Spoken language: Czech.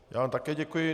Já vám také děkuji.